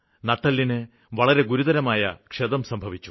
നട്ടെല്ലിന് വളരെ ഗുരുതരമായ ക്ഷതം സംഭവിച്ചു